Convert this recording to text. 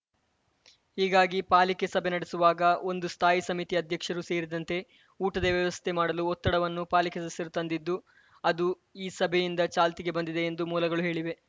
ಹೀಗಾಗಿ ಪಾಲಿಕೆ ಸಭೆ ನಡೆಸುವಾಗ ಒಂದು ಸ್ಥಾಯಿ ಸಮಿತಿ ಅಧ್ಯಕ್ಷರು ಸೇರಿದಂತೆ ಊಟದ ವ್ಯವಸ್ಥೆ ಮಾಡಲು ಒತ್ತಡವನ್ನು ಪಾಲಿಕೆ ಸದಸ್ಯರು ತಂದಿದ್ದು ಅದು ಈ ಸಭೆಯಿಂದ ಚಾಲ್ತಿಗೆ ಬಂದಿದೆ ಎಂದು ಮೂಲಗಳು ಹೇಳಿವೆ